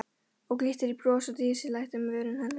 Og glittir í bros á dísæt um vörum hennar.